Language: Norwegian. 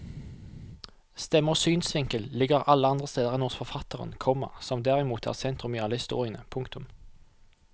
Stemme og synsvinkel ligger alle andre steder enn hos forfatteren, komma som derimot er sentrum i alle historiene. punktum